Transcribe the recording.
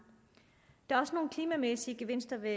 der er også nogle klimamæssige gevinster ved